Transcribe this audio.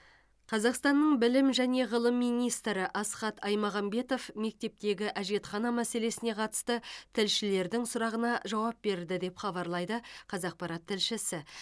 қазақстанның білім және ғылым министрі асхат аймағамбетов мектептегі әжетхана мәселесіне қатысты тілшілердің сұрағына жауап берді деп хабарлайды қазақпарат тілшісі